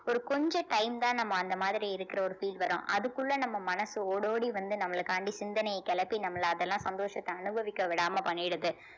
ஒரு கொஞ்சம் time தான் நம்ம அந்த மாதிரி இருக்கிற ஒரு feel வரும் அதுக்குள்ள நம்ம மனசு ஓடோடி வந்து நம்மளைக்காண்டி சிந்தனையைக் கிளப்பி நம்மள அதெல்லாம் சந்தோஷத்த அனுபவிக்க விடாம பண்ணிடுது